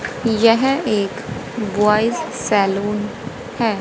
यह एक boys salon है।